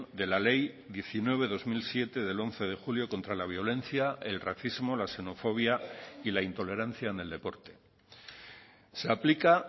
de la ley diecinueve barra dos mil siete del once de julio contra la violencia el racismo la xenofobia y la intolerancia en el deporte se aplica